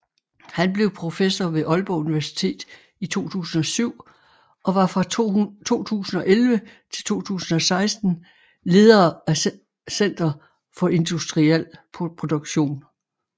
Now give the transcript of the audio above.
Han blev professor ved Aalborg Universitet i 2007 og var fra 2011 til 2016 leder af Center for Industrial Production